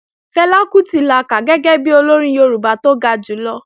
Fẹlá Kútì la kà gẹ́gẹ́ bi Olórin Yorùbá tó ga jùlọ